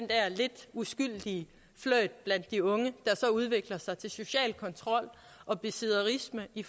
lidt uskyldige flirt blandt de unge der så udvikler sig til social kontrol og besidderisme i